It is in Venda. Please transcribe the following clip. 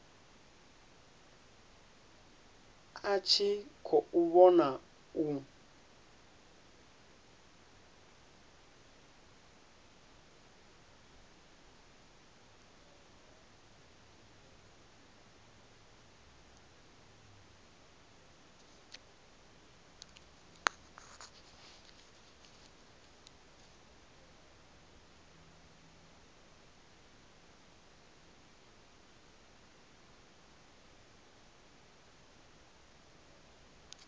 a tshi khou vhona u